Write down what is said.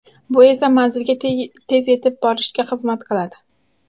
Bu esa manzilga tez yetib borishga xizmat qiladi.